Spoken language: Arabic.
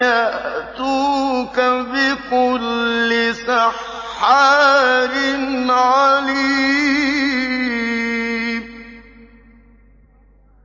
يَأْتُوكَ بِكُلِّ سَحَّارٍ عَلِيمٍ